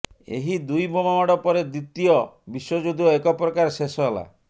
ଏହି ଦୁଇ ବୋମା ମାଡ଼ ପରେ ଦ୍ବିତୀୟ ବିଶ୍ୱଯୁଦ୍ଧ ଏକପ୍ରକାର ଶେଷ ହେଲା